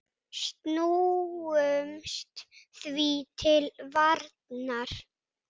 Snúumst því til varnar!